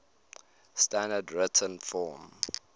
standard written form